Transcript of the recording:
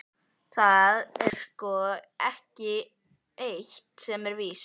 Það er sko eitt sem er víst.